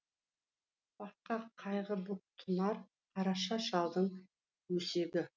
бақытқа қайғы боп тұнар қараша шалдың өсегі